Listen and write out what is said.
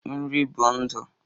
Nri bụ ndụ